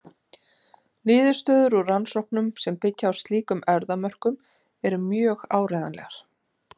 Niðurstöður úr rannsóknum sem byggja á slíkum erfðamörkum eru mjög áreiðanlegar.